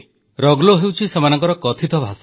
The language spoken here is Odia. ରଗୋଲୋ ହେଉଛି ସେମାନଙ୍କର କଥିତ ଭାଷା